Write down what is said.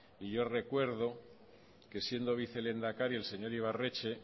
y yo recuerdo que siendo vicelehendakari el señor ibarretxe